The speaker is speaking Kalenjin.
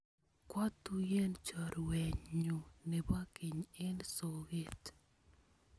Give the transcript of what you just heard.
Kwa tuyen chorwennyu nepo keny eng' soget.